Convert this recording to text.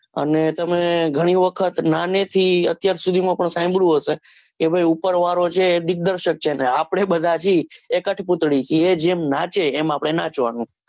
અને તમે ઘણી વખત નાની થી અત્યાર સુધી માં સાંભળ્યું હશે કે ભાઈ ઉપર વાળો છે દિગ્દર્સક છે ને આપણે બધાંથી એ કટપુતળી એ જેમ નાચે એમ આપણે નાચવાનું